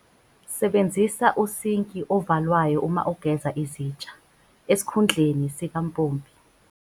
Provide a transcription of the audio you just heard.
Sebenzisa usinki ovalwayo uma ugeza izitsha, esikhundleni sikampompi.